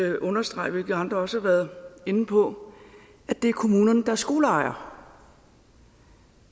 at understrege hvilket andre også har været inde på at det er kommunerne er skoleejere